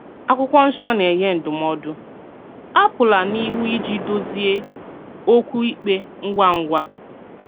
Àkwụ́kwọ́ Nsọ́ na-ènye ndúmòdù: "Àpụ̀là n’íhù íjì dùzìè òkwù ìkpè ngwà ngwà."